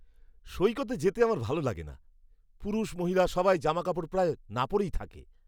সৈকতে যেতে আমার ভালো লাগে না। পুরুষ মহিলা সবাই জামাকাপড় প্রায় না পরেই থাকে।